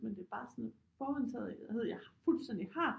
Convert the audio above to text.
Men det er bare sådan en forudindtagethed jeg fuldstændig har